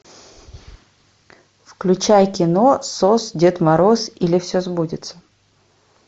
включай кино сос дед мороз или все сбудется